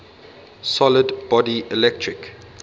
solid body electric